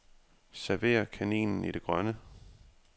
Server kaninen i det grønne.